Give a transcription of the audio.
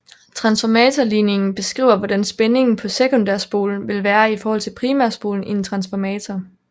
Transformatorligningen beskriver hvordan spændingen på sekundærspolen vil være i forhold til primærspolen i en transformator